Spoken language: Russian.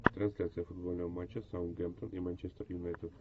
трансляция футбольного матча саутгемптон и манчестер юнайтед